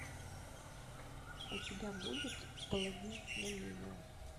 у тебя будет благие знамения